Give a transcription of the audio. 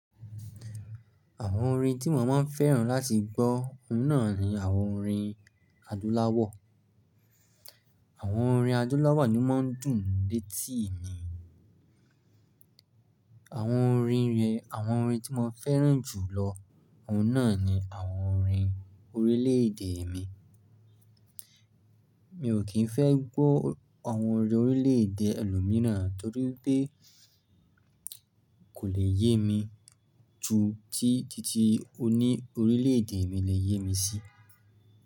Àwọn orin tí mo máa ń fẹ́ràn láti gbọ́, ọ̀ún nà ni àwọn orin adúláwọ̀. Àwọn orin adúláwọ̀ ni ó máa ń dùn létí mi. Àwọn orin rẹ, àwọn orin tí mo fẹ́ràn jù lọ, ọ̀ún nà ni àwọn orin orílẹ̀ èdè mi. Mi ò kí ń fẹ́ gbọ́ àwọn orin orílẹ̀ èdè ẹlòmíràn torí pé kò le yé mi ju tí títí oní orílẹ̀ èdè mi le yé mi sí.